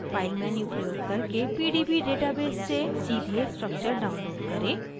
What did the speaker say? file menu प्रयोग करके pdb database से सीधे structure download करें